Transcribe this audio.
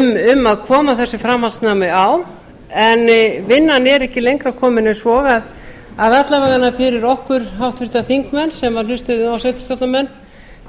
um að koma þessu framhaldsnámi á en vinnan er ekki lengra komin en svo að alla vegana fyrir okkur háttvirta þingmenn sem hlustuðum á sveitarstjórnarmenn